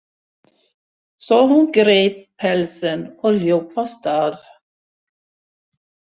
Svo hún greip pelsinn og hljóp af stað.